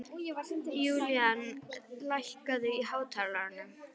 Julian, lækkaðu í hátalaranum.